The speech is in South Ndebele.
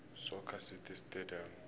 soccer city stadium